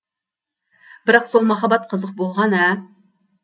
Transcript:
бірақ сол махаббат қызық болған ә